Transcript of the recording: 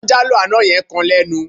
Táńjálò àná yẹn kan lẹ́nu.